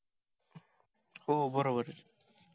हो बरोबर